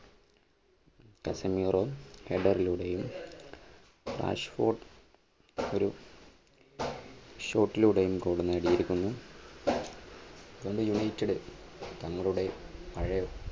കസൻഹീറോ header ലൂടെയും രാഷ്കോട്ട് ഒരു shot ലൂടെയും goal നേടിയിരിക്കുന്നു. പണ്ട് യുണൈറ്റഡ് തങ്ങളുടെ പഴയ